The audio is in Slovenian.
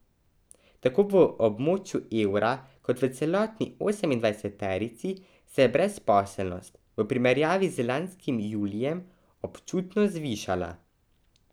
Tako v območju evra kot v celotni osemindvajseterici se je brezposelnost v primerjavi z lanskim julijem občutno zvišala.